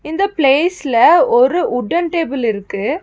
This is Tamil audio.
இந்த பிளேஸ்ல ஒரு வுட்டென் டேபிள் இருக்கு.